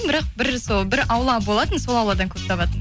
бірақ бір сол бір аула болатын сол ауладан көп табатын